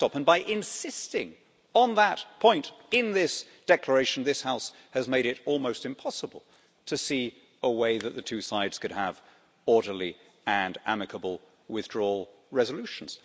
the backstop, and by insisting on that point in this declaration, this House has made it almost impossible to see a way that the two sides could have orderly and amicable withdrawal resolutions.